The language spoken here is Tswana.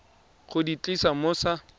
go di tlisa mo sa